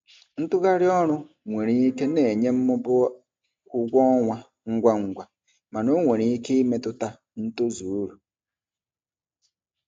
Ntugharị ọrụ nwere ike na-enye mmụba ụgwọ ọnwa ngwa ngwa mana ọ nwere ike imetụta ntozu uru.